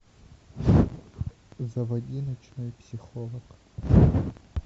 заводи ночной психолог